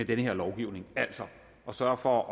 den her lovgivning altså at sørge for at